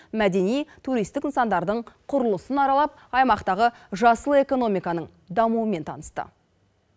мәдени туристік нысандардың құрылысын аралап аймақтағы жасыл экономиканың дамуымен танысты